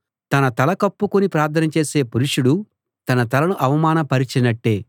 తన తల కప్పుకుని ప్రార్థన చేసే పురుషుడు తన తలను అవమానపరచినట్టే